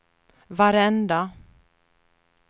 varenda